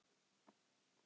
Hvað hefði gerst?